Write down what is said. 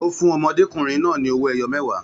Ó fún ọmọdékùnrin náà ní owó ẹyọ mẹwa